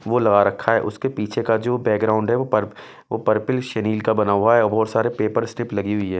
वो लगा रखा है उसके पीछे का जो बैकग्राउंड है वो पर वो पर्पल शनील का बना हुआ है और बहुत सारे पेपर स्ट्रिप लगी हुई है।